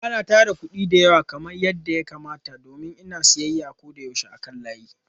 Ba na tara kuɗi da yawa kamar yadda ya kamata domin koyaushe ina siyayya ta kan layi.